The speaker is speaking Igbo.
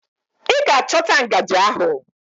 Ị ga-achọta ngajị ahụ!